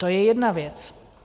To je jedna věc.